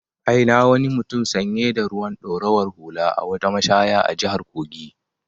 I na wani mutum sanye da ruwan ɗorawar hula a wata mashaya a jihar Kogi.